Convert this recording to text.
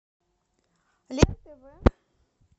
лен тв